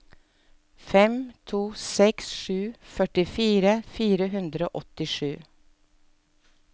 fem to seks sju førtifire fire hundre og åttisju